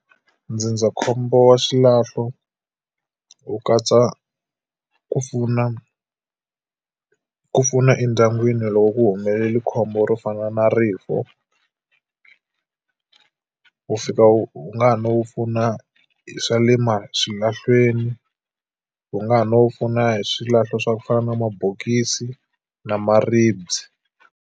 Ndzindzakhombo wa xilahlo wu katsa ku pfuna ku pfuna endyangwini loko ku humelela khombo ro fana na rifu. Wu fika u nga ha no pfuna hi swa le swilahlweni, wu nga ha no pfuna hi swilahlo swa ku fana na mabokisi na maribye.